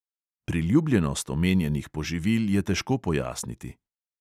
Priljubljenost omenjenih poživil je težko pojasniti.